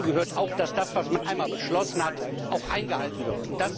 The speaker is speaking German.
Dazu gehört auch, dass das, was man einmal beschlossen hat, auch eingehalten wird.